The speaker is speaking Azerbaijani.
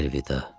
Əlvida.